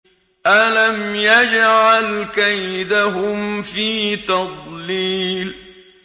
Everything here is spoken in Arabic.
أَلَمْ يَجْعَلْ كَيْدَهُمْ فِي تَضْلِيلٍ